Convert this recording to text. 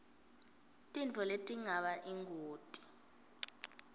tintfo letingaba yingoti